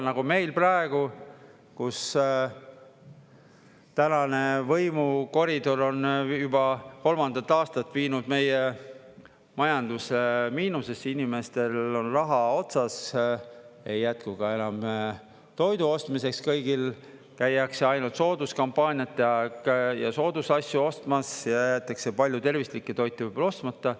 Nagu meil praegu, kus tänane võimukoridor on juba kolmandat aastat viinud meie majanduse miinusesse, inimestel on raha otsas, ei jätku ka enam toidu ostmiseks kõigil, käiakse ainult sooduskampaaniate aeg ja soodusasju ostmas ja jäetakse palju tervislikke toite võib-olla ostmata.